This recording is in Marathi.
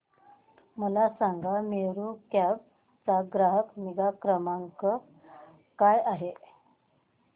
मला सांगा मेरू कॅब चा ग्राहक निगा क्रमांक काय आहे